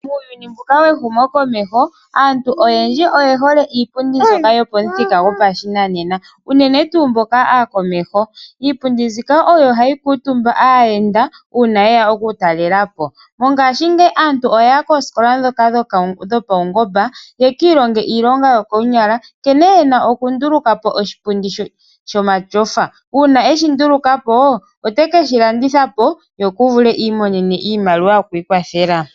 Uuyuni mbuka we humokomeho aantu oyendji oye hole iipundi mbyoka yopamuthika gwopashinanena uunene tuu mboka aakomeho iipundi mbika oyo hayi kuutuma aayenda uuna yeya okutalela po mongashingeyi aantu oya ya koosikola dhoka dhopaungomba yeki ilonge iilonga yokoonyala nke